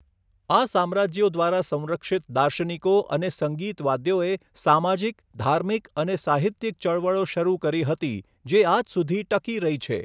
આ સામ્રાજ્યો દ્વારા સંરક્ષિત દાર્શનિકો અને સંગીતવાદ્યોએ સામાજિક ધાર્મિક અને સાહિત્યિક ચળવળો શરૂ કરી હતી જે આજ સુધી ટકી રહી છે.